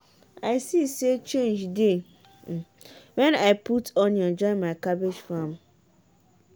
i see say change dey when i put onion join my cabbage farm.